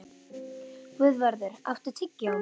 Guðvarður, áttu tyggjó?